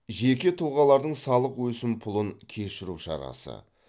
жеке тұлғалардың салық өсімпұлын кешіру шарасы